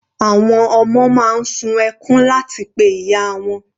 Àwọn ọmọ máa ń sun ẹkún láti pe ìyá wọn.